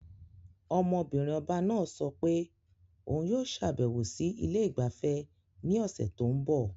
Ọmọ-binrin ọba náà sọ pé òun yóò ṣàbẹ̀wò sí ilé ìgbafẹ́ ní ọ̀sẹ̀ tó ń bọ̀.